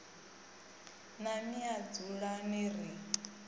na mme a dzulani ri